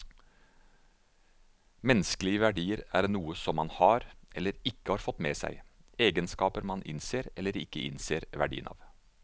Menneskelige verdier er noe som man har, eller ikke har fått med seg, egenskaper man innser eller ikke innser verdien av.